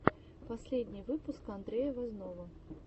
последний выпуск андрея возного